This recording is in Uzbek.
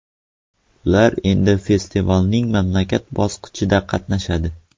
Ular endi festivalning mamlakat bosqichida qatnashadi.